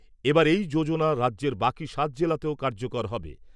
এবার এই যোজনা রাজ্যের বাকি সাত জেলাতেও কার্যকর হবে।